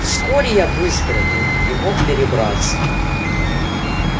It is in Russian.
вскоре я выздоровел и мог перебраться